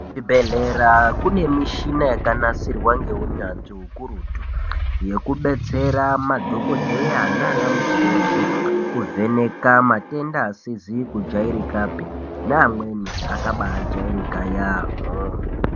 Kuzvibhehlera kune muchina yakanasirwa ngeunyanzvi ukurutu yekubetsera madhokodheya nanamukoti kuvheneka matenda asizi kudyairikapi neamweni akaba jairika yamho.